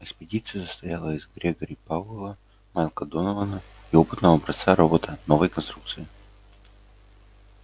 экспедиция состояла из грегори пауэлла майкла донована и опытного образца робота новой конструкции